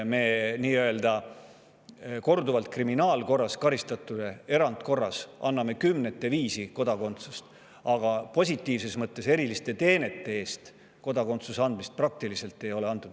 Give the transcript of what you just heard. Me anname korduvalt kriminaalkorras karistatuile erandkorras kümnete viisi kodakondsusi, aga positiivsete eriliste teenete eest ei ole kodakondsust praktiliselt üldse antud.